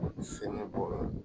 Sɛnɛ b'o la